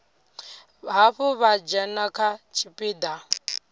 hafhu vha dzhena kha tshipiḓa